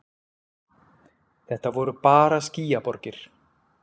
Þetta voru bara skýjaborgir.